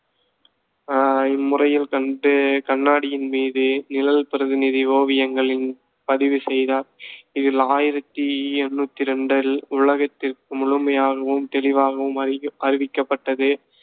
அஹ் இம்முறையில் கண்டு கண்ணாடியின் மீது நிழல் பிரதிநிதி ஓவியங்களின் பதிவு செய்தார். இது ஆயிரத்தி எண்ணூத்தி ரெண்டில் உலகதிற்கு முழுமையாகவும், தெளிவாகவும் அறிவி~ அறிவிக்கப்பட்டது.